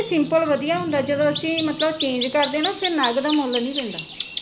simple ਵਧੀਆ ਹੁੰਦਾ, ਜਦੋਂ ਅਸੀਂ ਮਤਲਬ change ਕਰਦੇ ਫਿਰ ਉੱਥੇ ਨਗ ਦਾ ਮੁੱਲ ਨੀ ਪੈਂਦਾ